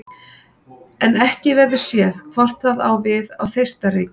En ekki verður séð hvort það á við á Þeistareykjum.